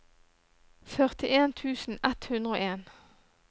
førtien tusen ett hundre og en